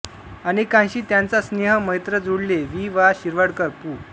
अनेकांशी त्यांचा स्नेह मैत्र जुळले वि वा शिरवाडकर पु